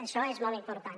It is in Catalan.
això és molt important